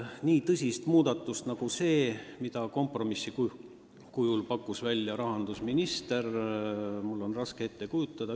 Nii tõsist muudatust nagu see, mille kompromissina pakkus välja rahandusminister, on mul raske ette kujutada.